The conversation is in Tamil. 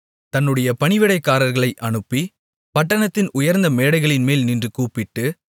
தன்னுடைய பணிவிடைக்காரிகளை அனுப்பி பட்டணத்தின் உயர்ந்த மேடைகளின்மேல் நின்று கூப்பிட்டு